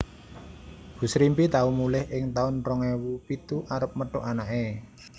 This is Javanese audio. Bu Srimpi tau mulih ing taun rong ewu pitu arep methuk anake